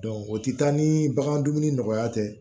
o tɛ taa ni bagan dumuni nɔgɔya tɛ